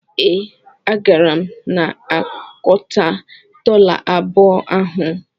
Ee, agara m anakọta dọla abụọ ahụ.